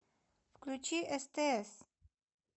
включи стс